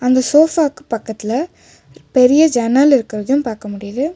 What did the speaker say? அந்த சொஃபாக்கு பக்கத்துல பெரிய ஜன்னல் இருக்குறதும் பாக்க முடியுது.